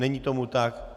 Není tomu tak.